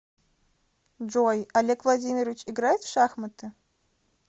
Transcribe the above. джой олег владимирович играет в шахматы